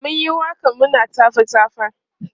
mun Yi waƙan muna tafa tafa